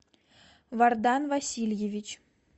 вардан васильевич